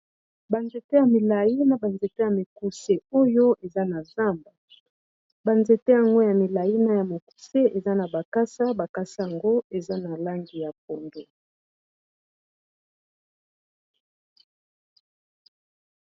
banzete ya milai na banzete ya mikuse oyo eza na zamba banzete yango ya milai na ya mokuse eza na makasa, makasa yango eza na langi ya pondu.